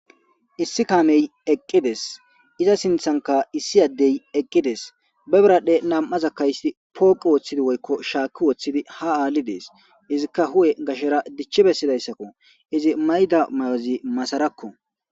Issi kamey eqqides iza sinthanka issi addey eqqides bebradhe nam'aza kayssi pooqu wooththidi woykko shaaki woththidi ha aalli dees izikka hu'e gashera dichchi bessidayssakko izi mayda mayozi masarakko.